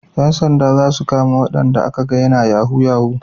Yan sanda za su kama wayanda a ka ga yana yahu yahu